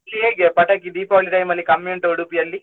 ಇಲ್ಲಿ ಹೇಗೆ ಪಟಾಕಿ Deepavali time ಅಲ್ಲಿ ಕಮ್ಮಿ ಉಂಟಾ Udupi ಯಲ್ಲಿ?